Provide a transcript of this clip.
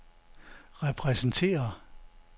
repræsenterer